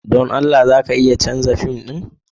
Don Allah za ka iya canza fim ɗin?